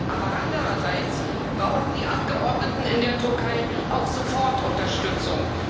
Aber andererseits brauchen die Abgeordneten in der Türkei auch sofort Unterstützung.